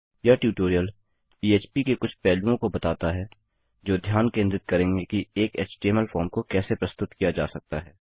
यह ट्यूटोरियल पह्प के कुछ पहलुओं को बताता है जो ध्यान केंद्रित करेंगे कि एक एचटीएमएल फॉर्म को कैसे प्रस्तुत किया जा सकता है